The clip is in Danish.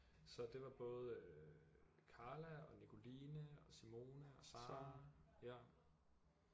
Så det var både øh Karla og Nicoline og Simone og Sara ja